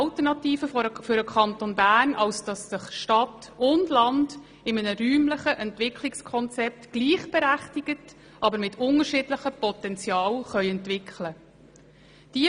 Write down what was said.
Stadt und Land müssen sich in einem räumlichen Entwicklungskonzept gleichberechtigt, aber mit unterschiedlichem Potenzial, entwickeln können.